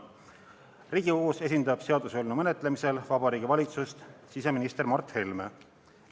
Riigikogus seaduseelnõu menetlemisel esindab Vabariigi Valitsust siseminister Mart Helme.